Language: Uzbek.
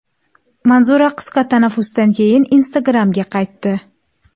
Manzura qisqa tanaffusdan keyin Instagram’ga qaytdi.